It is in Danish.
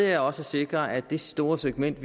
er også at sikre at det store segment af